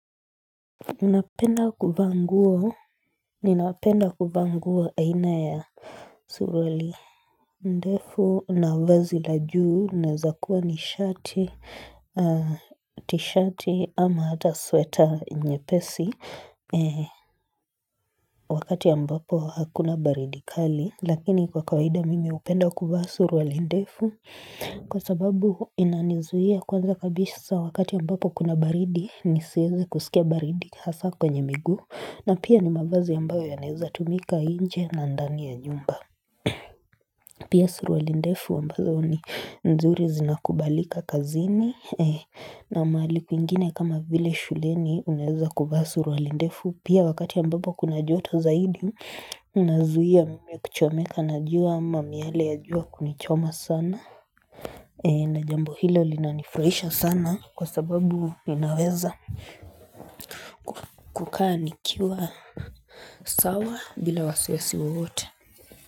Unapenda kuvaa nguo, ninapenda kuvaa nguo aina ya suruali ndefu, na vazi la juu, naeza kuwa nishati, tishati ama ata sweta nyepesi, wakati ambapo hakuna baridi kali, lakini kwa kawaida mimi upenda kuvaa suruali ndefu. Kwa sababu inanizuia kwanza kabishsa wakati ambapo kuna baridi nisieze kuskia baridi hasa kwenye miguu na pia ni mavazi ambayo yanaeza tumika inje na ndani ya nyumba Pia surualindefu ambazo ni nzuri zinakubalika kazini na maali kwingine kama vile shuleni unaeza kuvaa surualindefu Pia wakati ambapo kuna joto zaidi unazuia kuchomeka na jua ama miale ya jua kunichoma sana na jambo hilo linanifraisha sana kwa sababu ninaweza ku kukaa nikiwa sawa bila wasiwasi wowote.